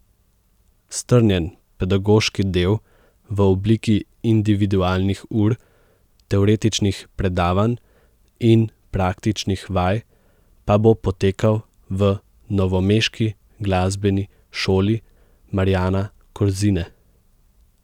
Strnjen pedagoški del v obliki individualnih ur, teoretičnih predavanj in praktičnih vaj pa bo potekal v novomeški Glasbeni šoli Marjana Kozine.